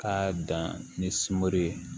K'a dan ni sunmori ye